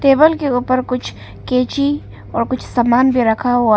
Table के ऊपर कुछ कैची और कुछ समान भी रखा हुआ है।